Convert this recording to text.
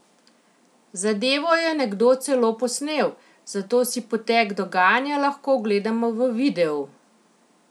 Zadevo je nekdo celo posnel, zato si potek dogajanja lahko ogledamo v videu!